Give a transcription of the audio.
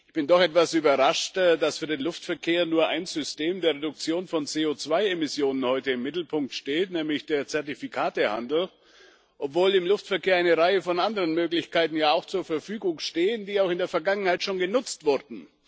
Ich bin doch etwas überrascht, dass für den Luftverkehr nur ein System der Reduktion von CO2 Emissionen heute im Mittelpunkt steht, nämlich der Zertifikatehandel, obwohl im Luftverkehr ja auch eine Reihe von anderen Möglichkeiten zur Verfügung stehen, die auch in der Vergangenheit schon genutzt wurden.